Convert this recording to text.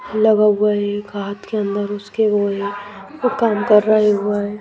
लगा हुआ है एक हाथ के अंदर उसके वो है वो काम कर रहा है हुआ है।